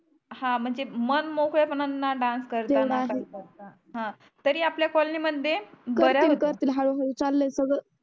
हा म्हणजे मन मोकळ्या पणाने डांस करताना तेवड आहे करता तरी आपल्या कॉलनी मध्ये बर आहे करतील करतील हळू हळू चालय सगळ